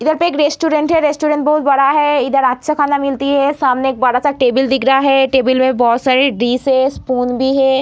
इधर पे एक रेस्टोरेंट है रेस्टोरेंट बहुत बडा है इधर अच्छा खाना मिलती है सामने बड़ा-सा टेबल दिख रहा हैं टेबल में बहुत सारे डिश है स्पून भी है।